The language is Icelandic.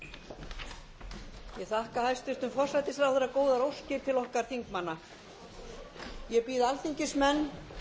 ég þakka hæstvirtum forsætisráðherra góðar óskir til okkar þingmanna og býð alþingismenn